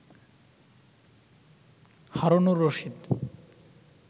Harunur Rashid